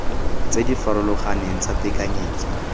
tse di farologaneng tsa tekanyetso